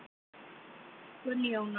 Gunnjóna